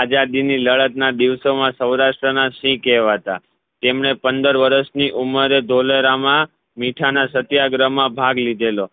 આઝાદી ની લડત ના દિવસો મા સૌરાષ્ટ્ર ના સિંહ કહેવાતા તેમને પંદર વર્ષની ઉમર મા ધોલેરા મા મીઠા ના સત્યાગ્રહ માં ભાગ લીધેલો